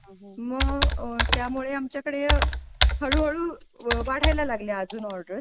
मग त्यामुळे आमच्याकडे हळूहळू वाढायला लागल्या अजून ऑर्डर्स.